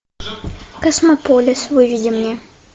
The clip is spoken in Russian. космополис выведи мне